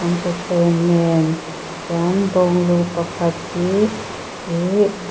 an thuthleng nen chuan bawng lu pakhat hi ihh--